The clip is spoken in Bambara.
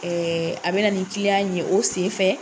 Ɛɛ a be na ni ye o sen fɛ.